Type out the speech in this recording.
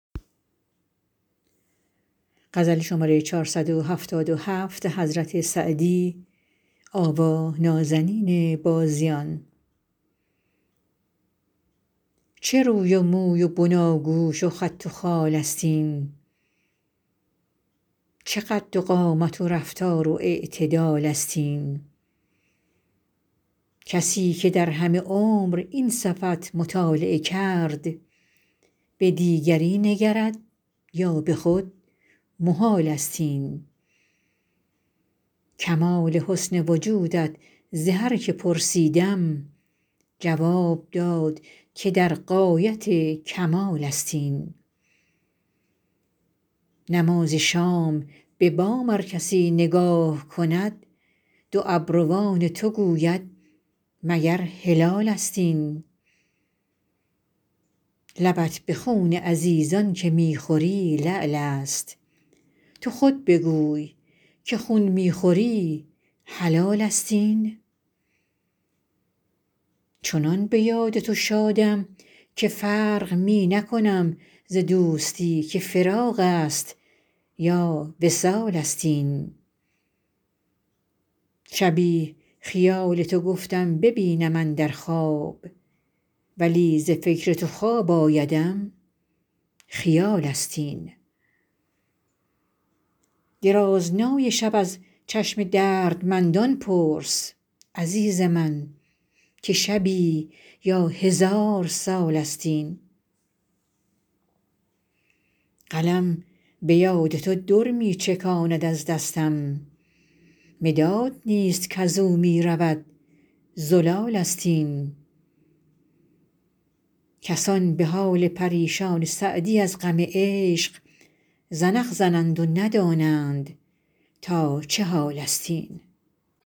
چه روی و موی و بناگوش و خط و خال است این چه قد و قامت و رفتار و اعتدال است این کسی که در همه عمر این صفت مطالعه کرد به دیگری نگرد یا به خود محال است این کمال حسن وجودت ز هر که پرسیدم جواب داد که در غایت کمال است این نماز شام به بام ار کسی نگاه کند دو ابروان تو گوید مگر هلالست این لبت به خون عزیزان که می خوری لعل است تو خود بگوی که خون می خوری حلال است این چنان به یاد تو شادم که فرق می نکنم ز دوستی که فراق است یا وصال است این شبی خیال تو گفتم ببینم اندر خواب ولی ز فکر تو خواب آیدم خیال است این درازنای شب از چشم دردمندان پرس عزیز من که شبی یا هزار سال است این قلم به یاد تو در می چکاند از دستم مداد نیست کز او می رود زلال است این کسان به حال پریشان سعدی از غم عشق زنخ زنند و ندانند تا چه حال است این